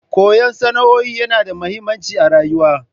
Koyan sana'o'in yana da mahimmanci a rayuwa.